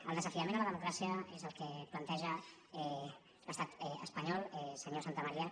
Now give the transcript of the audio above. el desafiament a la democràcia és el que planteja l’estat espanyol senyor santamaria